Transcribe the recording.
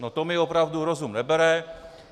No to mi opravdu rozum nebere.